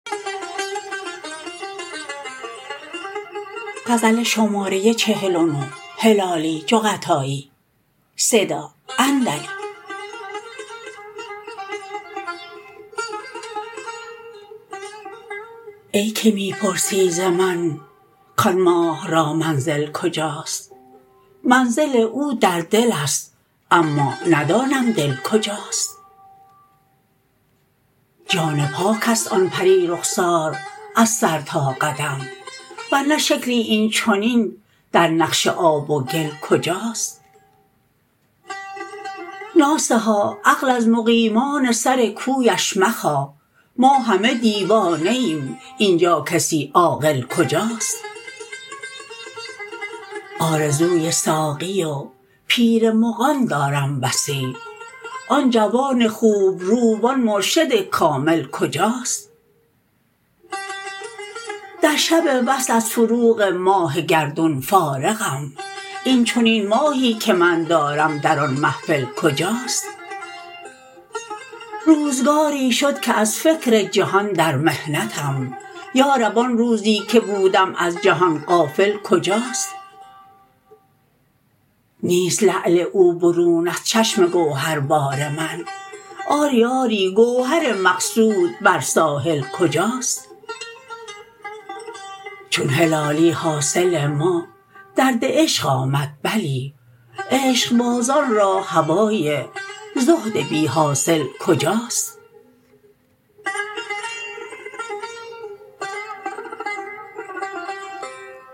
ای که می پرسی ز من کان ماه را منزل کجاست منزل او در دلست اما ندانم دل کجاست جان پاکست آن پری رخسار از سر تا قدم ور نه شکلی این چنین در نقش آب و گل کجاست ناصحا عقل از مقیمان سر کویش مخواه ما همه دیوانه ایم این جا کسی عاقل کجاست آرزوی ساقی و پیر مغان دارم بسی آن جوان خوبرو و آن مرشد کامل کجاست در شب وصل از فروغ ماه گردون فارغم این چنین ماهی که من دارم در آن محفل کجاست روزگاری شد که از فکر جهان در محنتم یارب آن روزی که بودم از جهان غافل کجاست نیست لعل او برون از چشم گوهر بار من آری آری گوهر مقصود بر ساحل کجاست چون هلالی حاصل ما درد عشق آمد بلی عشقبازان را هوای زهد بی حاصل کجاست